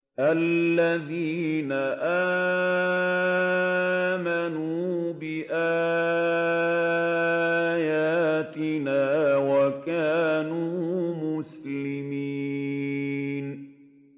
الَّذِينَ آمَنُوا بِآيَاتِنَا وَكَانُوا مُسْلِمِينَ